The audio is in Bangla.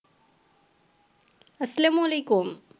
আসসালামু আলাইকুম